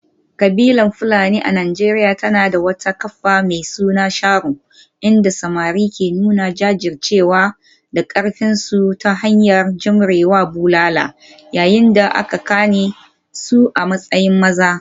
Kabilar Fulani a Najeriya tana da wata kafa mai suna sharo, inda samari ke nuna jajircewa da karfinsu ta hanyar jure wa bulala yayin da aka gane su a matsayin maza.